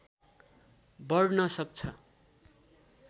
बढ्न सक्छ